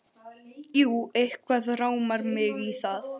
Jú, eitthvað rámar mig í það.